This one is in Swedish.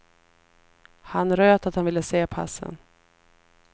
Han röt att han ville se passen.